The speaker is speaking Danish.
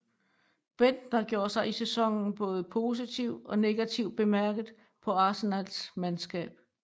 Bendtner gjorde sig i sæsonen både positivt og negativt bemærket på Arsenals mandskab